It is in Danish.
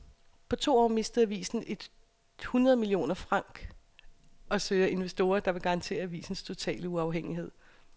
På to år mistede avisen et hundrede millioner franc og søger investorer, der vil garantere avisens totale uafhængighed.